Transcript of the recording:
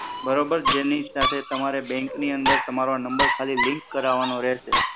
બરોબર જેની સાથે તમારે બન્ક ની અંદર તમારો આ નમ્બર ખાલી લિંક કરાવવાનો રહેશે.